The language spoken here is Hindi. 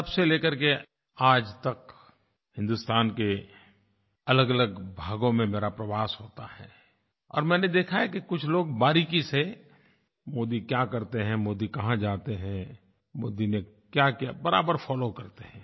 तब से लेकर के आज तक हिंदुस्तान के अलगअलग भागों में मेरा प्रवास होता है और मैंने देखा है कि कुछ लोग बारीकी से मोदी क्या करते हैं मोदी कहाँ जाते हैं मोदी ने क्याक्या किया बराबर फोलो करते हैं